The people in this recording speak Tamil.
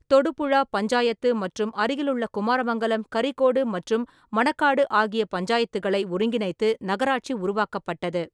தொடுபுழா பஞ்சாயத்து மற்றும் அருகிலுள்ள குமாரமங்கலம், கரிகோடு மற்றும் மணக்காடு ஆகிய பஞ்சாயத்துகளை ஒருங்கிணைத்து நகராட்சி உருவாக்கப்பட்டது.